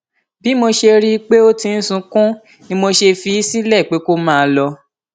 bí mo sì ṣe rí i pé ó ti ń sunkún ni mo fi í sílẹ pé kó máa lọ